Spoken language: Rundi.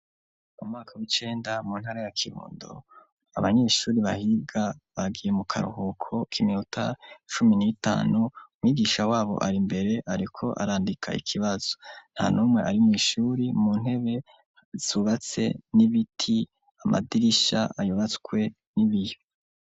Mu mwaka w'icenda mu ntara ya Kihundo abanyeshuri bahiga bagiye mu karuhuko k' iminuta cumi n'itanu, umwigisha wabo ari mbere ariko arandika ikibazo. Nta numwe ari mw' ishuri, mu ntebe zubatse n'ibiti, amadirisha yubatswe n'ibiyo.